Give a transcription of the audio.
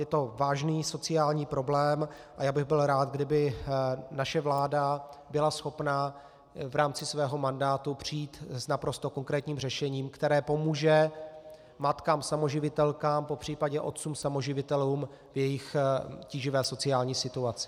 Je to vážný sociální problém a já bych byl rád, kdyby naše vláda byla schopna v rámci svého mandátu přijít s naprosto konkrétním řešením, které pomůže matkám samoživitelkám, popřípadě otcům samoživitelům v jejich tíživé sociální situaci.